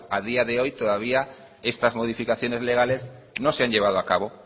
a día de hoy todavía estas modificaciones legales no se han llevado a cabo